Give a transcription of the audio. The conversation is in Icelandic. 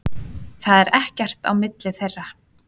Það er ekkert á milli þeirra.